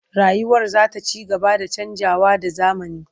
Rayuwar za ta ci gaba da canjawa da zamani.